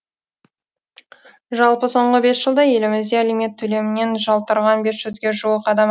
жалпы соңғы бес жылда елімізде алимент төлемінен жалтарған бес жүзге жуық адам